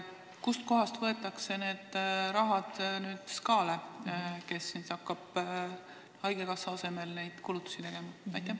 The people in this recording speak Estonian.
Kust kohast aga võetakse raha Sotsiaalkindlustusametile, kes hakkab haigekassa asemel neid kulutusi tegema?